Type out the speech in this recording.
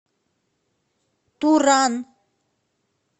туран